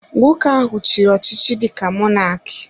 Nwoke ahụ chiri ọchịchị dịka Mọnak